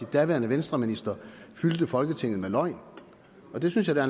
daværende venstreministre fyldte folketinget med løgn og det synes jeg da